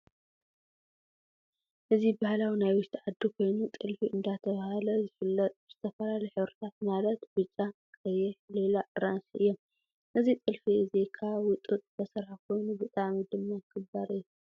እዚ ባህሊ ናይ ውሽጢ ዓዲ ኮይኑ ጥልፊ እንዳተባሀለ ዝፍለጥ ብዝተፈላለዩ ሕብሪታት፣ ማለት ብጫ፣ ቀይሕ፣ ሊላ፣ ኣራንሺ ፣ እዮም። እዚ ጥልፊ እዚ ካብ ጡጥ ዝተሰርሐ ኮይኑ ብጣዕሚ ድማ ክባር እዩ።